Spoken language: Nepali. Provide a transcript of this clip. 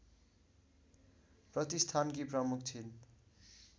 प्रतिष्ठानकी प्रमुख छिन्